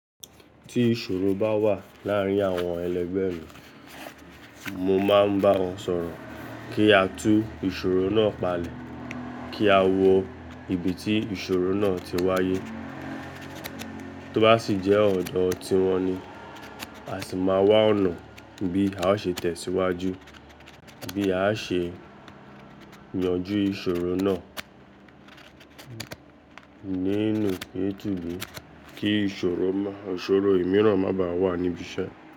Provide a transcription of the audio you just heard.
Tí ìṣòro bá wà láàrin àwọn ẹlẹgbẹ́ mi, mo máa ń bá wọn sọ̀rọ̀ kí á tú ìṣòro náà palẹ̀, kí á wọ ibi tí ìṣòro náà ti wáyé. Tó bá sì jẹ́ ọ̀jọ̀ọ̀tí wọn ni, a sì máa wá ọ̀nà bí a ó ṣe tẹ̀síwájú, bí a ṣe yanjú ìṣòro náà. Nínú itùú bi kí ìṣòro ìmíràn má ba wà níbi iṣẹ́